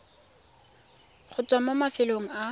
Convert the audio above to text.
go tswa mo mafelong a